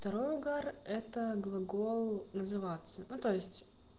второй угар это глагол называется ну то есть